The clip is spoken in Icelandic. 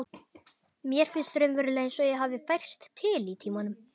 Mér finnst raunverulega einsog ég hafi færst til í tímanum.